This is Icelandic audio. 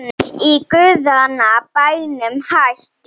Í guðanna bænum hættu